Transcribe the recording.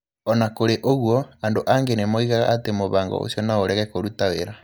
O na kũrĩ ũguo, andũ angĩ nĩ moigaga atĩ mũbango ũcio no ũrege kũruta wĩra.